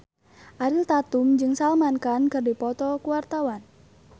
Ariel Tatum jeung Salman Khan keur dipoto ku wartawan